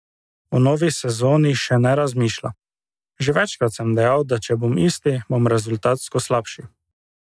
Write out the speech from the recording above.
O novi sezoni še ne razmišlja: "Že večkrat sem dejal, da če bom isti, bom rezultatsko slabši.